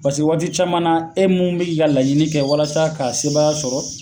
Paseke waati caman na , e min bɛ ka i ka laɲini kɛ walasa k'i ka sebaaya sɔrɔ